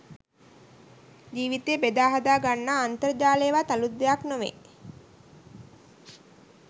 ජීවිතය බෙදා හදා ගන්නා අන්තර්ජාලයවත් අලුත් දෙයක් නොවෙයි